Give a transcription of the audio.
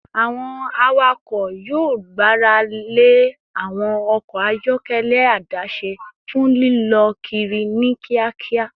Awọn awakọ yoo gbarale awọn ọkọ ayọkẹlẹ adase fun lilọ kiri ni kiakia